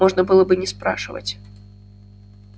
можно было бы не спрашивать